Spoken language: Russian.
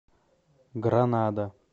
гранада